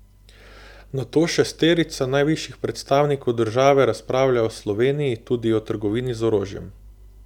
Nato šesterica najvišjih predstavnikov države razpravlja o Sloveniji, tudi o trgovini z orožjem.